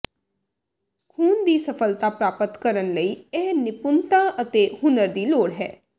ਖੂਨ ਦੀ ਸਫ਼ਲਤਾ ਪ੍ਰਾਪਤ ਕਰਨ ਲਈ ਇਹ ਨਿਪੁੰਨਤਾ ਅਤੇ ਹੁਨਰ ਦੀ ਲੋੜ ਹੈ